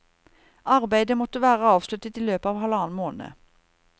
Arbeidet måtte være avsluttet i løpet av halvannen måned.